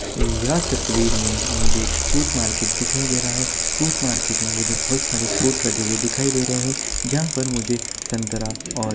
यह तस्वीर में मुझे एक फ्रूट मार्केट दिखाई दे रहा है फ्रूट मार्केट में मुझे बहुत सारे फ्रूट रखे हुए दिखाई दे रहे हैं जहां पर मुझे संतरा ऑरेंज --